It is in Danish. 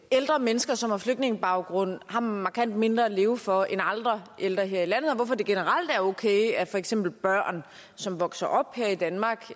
ældre mennesker som har flygtningebaggrund har markant mindre at leve for end andre ældre her i landet og hvorfor det generelt er okay at for eksempel børn som vokser op her i danmark